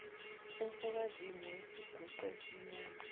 umfokazimu wayeyisiguqa esimnyama